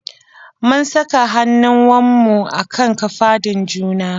Mun saka hannuwanmu a kan kafadun juna.